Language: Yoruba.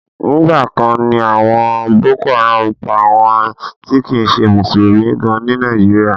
Nígbà kan ni àwọn boko haram ń pa àwọn ti kìí ṣe mùsùlùmí gan ní Nàìjíríà.